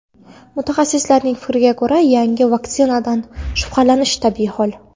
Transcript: Mutaxassislarning fikriga ko‘ra, yangi vaksinadan shubhalanish tabiiy hol.